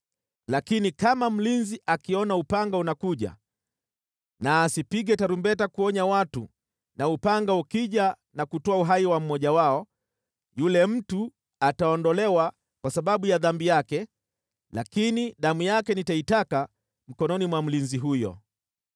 Lakini kama mlinzi akiona upanga unakuja na asipige tarumbeta kuonya watu na upanga ukija na kutoa uhai wa mmoja wao, yule mtu ataondolewa kwa sababu ya dhambi yake, lakini damu yake nitaitaka mkononi mwa mlinzi huyo.’